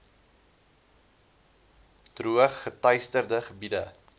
droog geteisterde gebiede